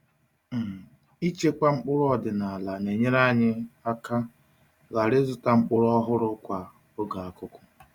um Ịchekwa mkpụrụ ọdịnala na-enyere anyị um aka ghara ịzụta mkpụrụ ọhụrụ kwa um oge akuku.